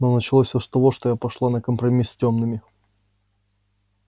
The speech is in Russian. но началось всё с того что я пошла на компромисс с тёмными